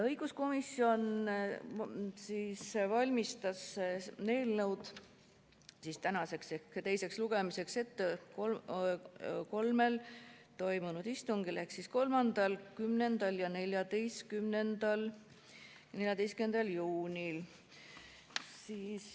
Õiguskomisjon valmistas eelnõu tänaseks, teiseks lugemiseks ette kolmel istungil: 3., 10. ja 14. juunil.